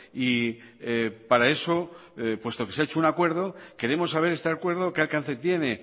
y para eso puesto que se ha hecho un acuerdo queremos saber este acuerdo qué alcance tiene